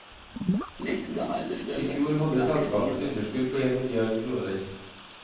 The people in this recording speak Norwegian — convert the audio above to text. I fjor hadde selskapet et underskudd på en milliard kroner.